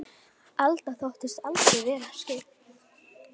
Alda þóttist aldrei vera skyggn.